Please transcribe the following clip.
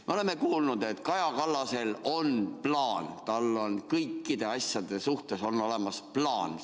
Me oleme kuulnud, et Kaja Kallasel on plaan, tal on kõikide asjade suhtes olemas plaan.